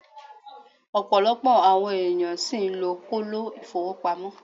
Opolopo awon eeyan si n lo kolo ifowopamo